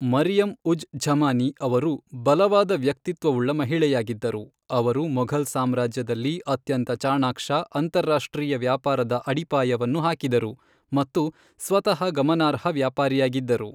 ಮರಿಯಮ್ ಉಜ್ ಝಮಾನಿ ಅವರು ಬಲವಾದ ವ್ಯಕ್ತಿತ್ವವುಳ್ಳ ಮಹಿಳೆಯಾಗಿದ್ದರು, ಅವರು ಮೊಘಲ್ ಸಾಮ್ರಾಜ್ಯದಲ್ಲಿ ಅತ್ಯಂತ ಚಾಣಾಕ್ಷ ಅಂತಾರಾಷ್ಟ್ರೀಯ ವ್ಯಾಪಾರದ ಅಡಿಪಾಯವನ್ನು ಹಾಕಿದರು ಮತ್ತು ಸ್ವತಃ ಗಮನಾರ್ಹ ವ್ಯಾಪಾರಿಯಾಗಿದ್ದರು.